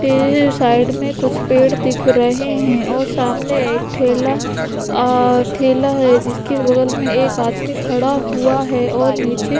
फिर साइड में कुछ पेड़ दिख रहे हैं और सामने एक ठेला और ठेला है। जिसकी बगल में एक आदमी खड़ा हुआ है और नीचे --